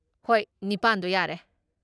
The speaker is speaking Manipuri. ꯍꯣꯏ, ꯅꯤꯄꯥꯟꯗꯣ ꯌꯥꯔꯦ꯫